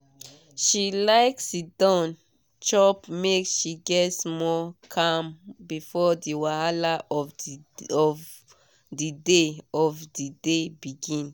she like siddon chop make she get small calm before the wahala of the day of the day begin.